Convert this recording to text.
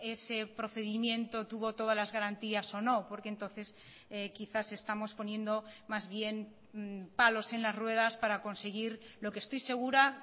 ese procedimiento tuvo todas las garantías o no porque entonces quizás estamos poniendo más bien palos en las ruedas para conseguir lo que estoy segura